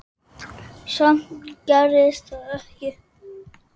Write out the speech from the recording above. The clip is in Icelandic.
Samt gerðist það ekki.